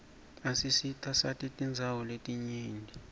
isisitasati tindawo letinyenti